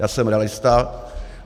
Já jsem realista.